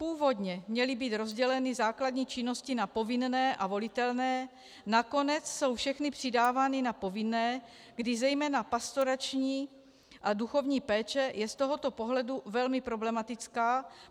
Původně měly být rozděleny základní činnosti na povinné a volitelné, nakonec jsou všechny přidávány na povinné, kdy zejména pastorační a duchovní péče je z tohoto pohledu velmi problematická.